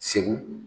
Segu